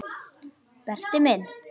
Berti minn.